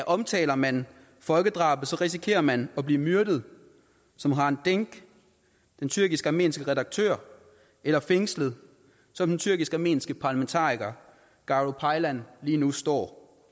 omtaler man folkedrabet risikerer man at blive myrdet som hrant dinck den tyrkisk armenske redaktør eller fængslet som den tyrkisk armenske parlamentariker garo paylan lige nu står